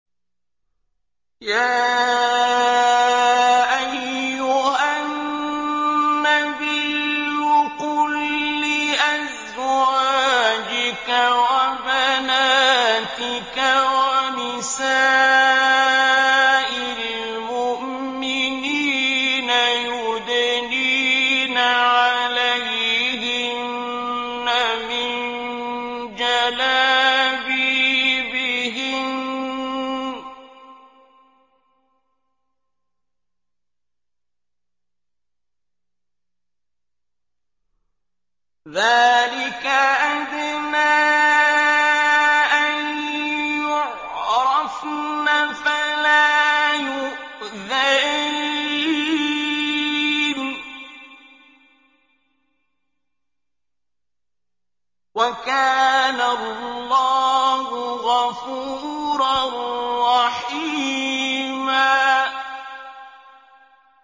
يَا أَيُّهَا النَّبِيُّ قُل لِّأَزْوَاجِكَ وَبَنَاتِكَ وَنِسَاءِ الْمُؤْمِنِينَ يُدْنِينَ عَلَيْهِنَّ مِن جَلَابِيبِهِنَّ ۚ ذَٰلِكَ أَدْنَىٰ أَن يُعْرَفْنَ فَلَا يُؤْذَيْنَ ۗ وَكَانَ اللَّهُ غَفُورًا رَّحِيمًا